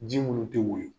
Ji munnu te woyo